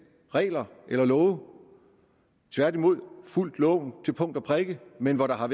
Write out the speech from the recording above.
regler eller love tværtimod de har fulgt loven til punkt og prikke men har